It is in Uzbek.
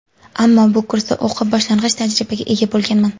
Ammo bu kursda o‘qib, boshlang‘ich tajribaga ega bo‘lganman.